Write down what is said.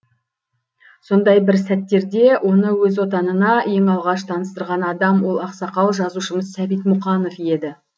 сондай бір сәттерде оны өз отанына ең алғаш таныстырған адам ол ақсақал жазушымыз сәбит мұқанов еді